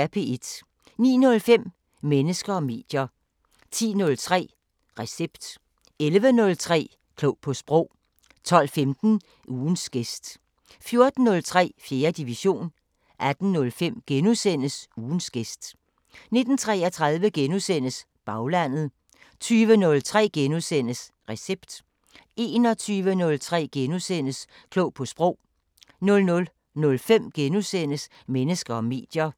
09:05: Mennesker og medier 10:03: Recept 11:03: Klog på Sprog 12:15: Ugens gæst 14:03: 4. division 18:05: Ugens gæst * 19:33: Baglandet * 20:03: Recept * 21:03: Klog på Sprog * 00:05: Mennesker og medier *